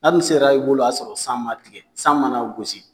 N'a dun sera i bolo o y'a sɔrɔ san ma tigɛ san mana gosi